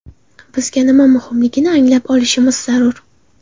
Bizga nima muhimligini anglab olishimiz zarur.